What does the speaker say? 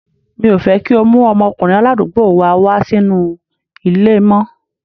Mi ò fẹ́ kí o mú ọmọkùnrin aládùúgbò wa wá sínú ilé mọ́.